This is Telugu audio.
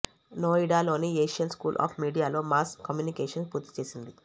నోయిడా లోని ఏషియన్ స్కూల్ ఆఫ్ మీడియాలో మాస్ కమ్యూనికేషన్ పూర్తి చేసింది